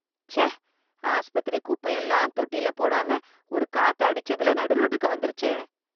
ச்சே, ஆஸ்பத்திரி குப்பையெல்லாம் தொட்டில போடாம ஒரு காத்து அடிச்சதுல நடுரோட்டுக்கு வந்துருச்சே.